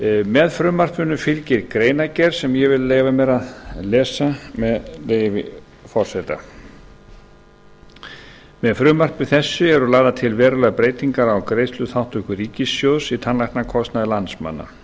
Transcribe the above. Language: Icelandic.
með frumvarpinu fylgir greinargerð sem ég vil leyfa mér að lesa með leyfi forseta með frumvarpi þessu eru lagðar til verulegar breytingar á greiðsluþátttöku ríkissjóðs í tannlæknakostnaði landsmanna